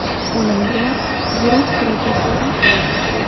O‘limga yurak xuruji sabab bo‘ldi.